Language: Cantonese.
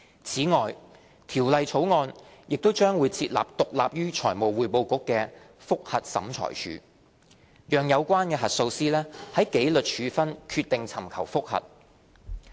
此外，《條例草案》亦將設立獨立於財務匯報局的覆核審裁處，讓有關核數師就紀律處分決定尋求覆核。